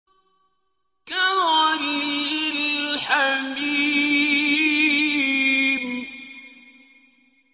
كَغَلْيِ الْحَمِيمِ